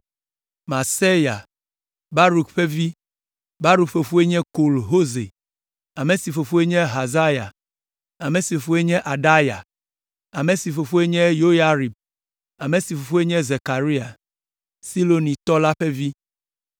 Maaseya, Baruk ƒe vi, Baruk fofoe nye Kol Hoze, ame si fofoe nye Hazaya, ame si fofoe nye Adaya, ame si fofoe nye Yoyarib, ame si fofoe nye Zekaria, Silonitɔ la ƒe vi.